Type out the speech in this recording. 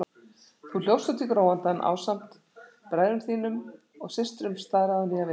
Þú hljópst út í gróandann ásamt bræðrum þínum og systrum, staðráðinn í að vinna.